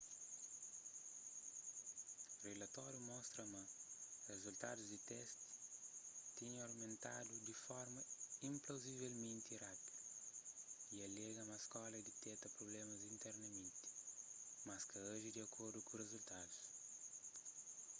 rilatóriu mostra ma rizultadus di testi tinha omentadu di forma inplauzivelmenti rápidu y alega ma skóla diteta prublémas internamenti mas ka aji di akordu ku rizultadus